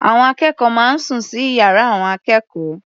Àwọn akẹ́kọ̀ọ́ máa ń sùn sí ìyára àwọn akẹ́kọ̀ọ́.